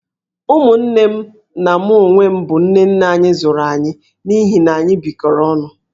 Ụmụnne m na mụ onwe m bụ nne nne anyị zụrụ anyị, n'ihi na anyị bịkọrọ onụ